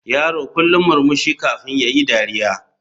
Yaro kullum murmushi kafin yayi dariya.